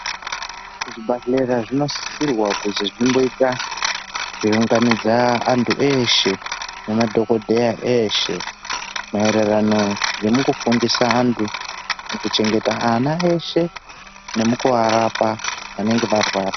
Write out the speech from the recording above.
Zvibhedhleya zvinosisirwa kuzi zvimboita zveiunganidza antu eshe nemadhokodheya eshe maererano ngemukufundisa antu mukuchengeta ana eshe nemukuarapa anenge arwara.